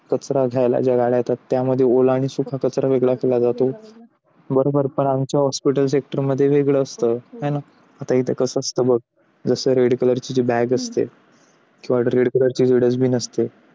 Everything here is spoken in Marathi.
कचरा घ्यायला आपल्याकडे गाड्या येतात. त्याच्यामध्ये ओला आणि सुखाचा वेगळा असतो बरोबर आपण आमच्या hospital sector मध्ये वेगळं असतं आता कसं असतं बघ जसा red color bag असते किंवा red color असते.